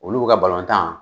Olu ka balɔntan